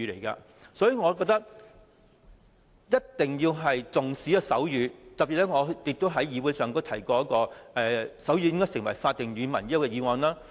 因此，我覺得一定要重視手語，我亦曾特別在議會提出"爭取手語成為香港官方語言"的議案。